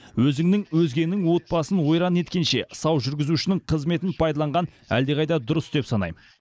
өзіңнің өзгенің отбасын ойран еткенше сау жүргізушінің қызметін пайдаланған әлдеқайда дұрыс деп санайм